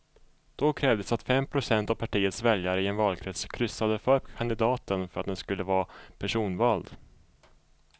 Då krävdes att fem procent av partiets väljare i en valkrets kryssade för kandidaten för att den skulle vara personvald.